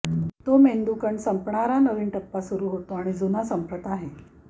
तो मेंदू कण संपणारा नवीन टप्पा सुरु होते आणि जुन्या संपत आहे